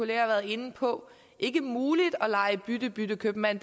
været inde på ikke muligt at lege bytte bytte købmand